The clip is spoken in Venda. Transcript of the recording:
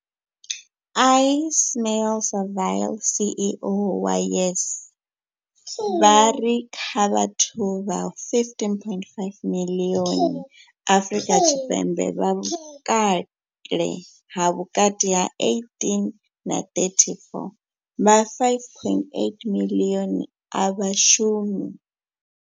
Ismail-Saville CEO wa YES, vha ri kha vhathu vha 15.5 miḽioni Afrika Tshipembe vha vhukale ha vhukati ha 18 na 34, vha 5.8 miḽioni a vha shumi.